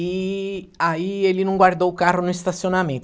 E aí ele não guardou o carro no estacionamento.